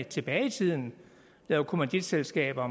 tilbage i tiden lavede kommanditselskaber